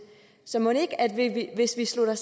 så mon ikke at vi hvis vi slutter